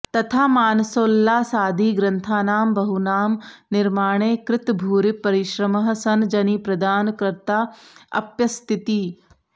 तथा मानसोल्लासादिग्रन्थानां बहूनां निर्माणे कृतभूरिपरिश्रमः सन् जनिप्रदान कर्ताऽप्यस्तीति